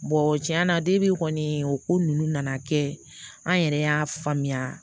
tiɲɛna kɔni o ko ninnu nana kɛ an yɛrɛ y'a faamuya